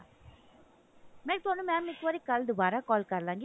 ਨਹੀ mam ਇੱਕ ਵਾਰੀ ਕੱਲ ਦੁਬਾਰਾ call ਕਰ ਲਵਾਂਗੀ